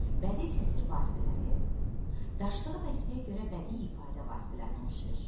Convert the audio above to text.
Bədii təsvir vasitələri, daşıdığı vəzifəyə görə bədii ifadə vasitələrinə oxşayır.